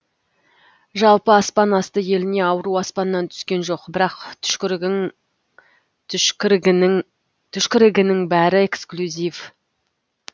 жалпы аспан асты еліне ауру аспаннан түскен жоқ бірақ түшкірігінің бәрі экслюзив